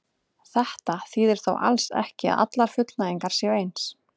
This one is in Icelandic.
Þetta þýðir þó alls ekki að allar fullnægingar séu eins.